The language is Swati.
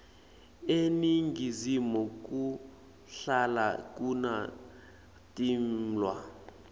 eningizimu kuhlala kuna timwla